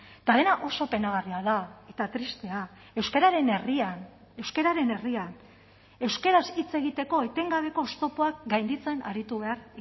eta dena oso penagarria da eta tristea euskararen herrian euskararen herrian euskaraz hitz egiteko etengabeko oztopoak gainditzen aritu behar